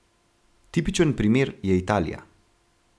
Tipičen primer je Italija.